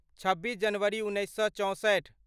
छब्बीस जनवरी उन्नैस सए चौंसठि